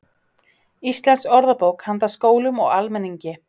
Íslensk orðabók handa skólum og almenningi.